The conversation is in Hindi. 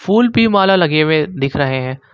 माला लगे हुए दिख रहे हैं।